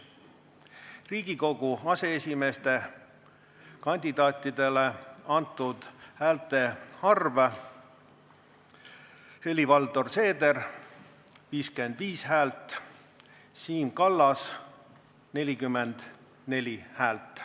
Riigikogu aseesimeeste kandidaatidele antud häälte arv: Helir-Valdor Seeder – 55 häält, Siim Kallas – 44 häält.